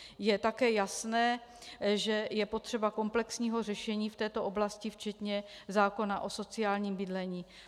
Je také jasné, že je potřeba komplexního řešení v této oblasti včetně zákona o sociálním bydlení.